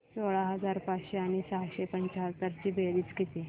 सोळा हजार पाचशे आणि सहाशे पंच्याहत्तर ची बेरीज किती